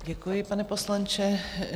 Děkuji, pane poslanče.